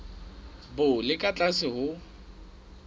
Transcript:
bo le ka tlase ho